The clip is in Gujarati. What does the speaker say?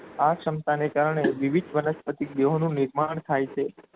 આ સક્ષમતાને કારણે વિવિધ વનસ્પતિ જેઓનું નિર્માણ થાય છે.